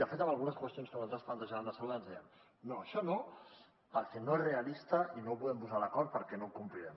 de fet en algunes qüestions que nosaltres plantejàvem de salut ens deien no això no perquè no és realista i no ho podem posar a l’acord perquè no ho complirem